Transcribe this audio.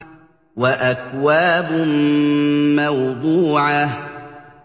وَأَكْوَابٌ مَّوْضُوعَةٌ